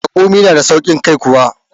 Raƙumi na da sauƙin kai kuwa?